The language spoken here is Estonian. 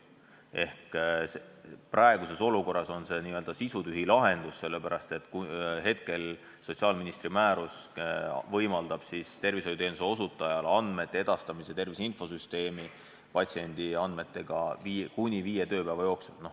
Praeguses olukorras on see n-ö sisutühi lahendus, sellepärast et sotsiaalministri määrus võimaldab tervishoiuteenuse osutajal patsiendi andmeid edastada tervise infosüsteemi kuni viie tööpäeva jooksul.